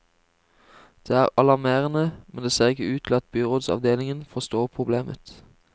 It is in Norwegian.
Det er alarmerende, men det ser ikke ut til at byrådsavdelingen forstår problemet.